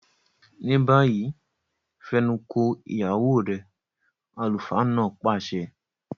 Báyìí, fẹnuko ìyàwó rẹ! àlùfáà náà pàṣẹ.